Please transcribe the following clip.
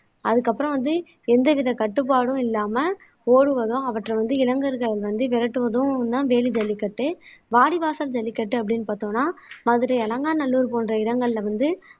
அதுக்கப்புறம் வந்து எந்தவித கட்டுப்பாடும் இல்லாம ஓடுவதும் அவற்றை வந்து இளைஞர்கள் வந்து விரட்டுவதும்தான் வேலி ஜல்லிக்கட்டு வாடிவாசல் ஜல்லிக்கட்டு அப்படீன்னு பார்த்தோம்னா மதுரை அலங்காநல்லூர் போன்ற இடங்கள்ல வந்து